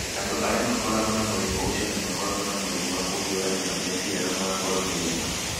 Andũ arĩa marĩ na mũrimũ ũcio nĩ makoragwo na mũrimũ wa kũhiũrania na meciria na magakorũo na irema.